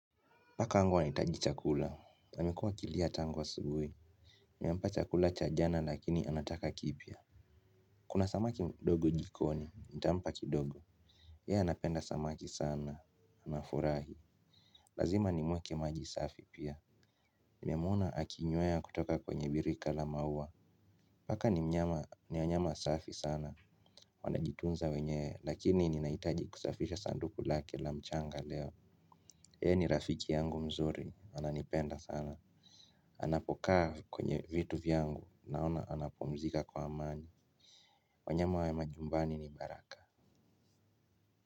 Paka wangu ana hitaji chakula. Na amekuwa akilia tangu asubuhi nimempa chakula cha jana lakini anataka kipya. Kuna samaki mdogo jikoni. Nitampa kidogo. Ye anapenda samaki sana. Anafurahi. Lazima ni muwekee maji safi pia. Nime muona aki nywea kutoka kwenye birika la maua. Paka ni mnyama. Ni wanyama safi sana. Wanajitunza wenyewe. Lakini ninaitaji kusafisha sanduku lake la mchanga leo. Yeye ni rafiki yangu mzuri. Ananipenda sana. Anapokaa kwenye vitu vyangu naona anapumzika kwa amani wanyama wa majumbani ni baraka.